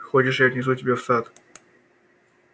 хочешь я отнесу тебя в сад